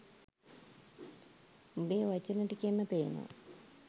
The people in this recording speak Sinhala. උඹේ වචන ටිකෙන්ම පේනව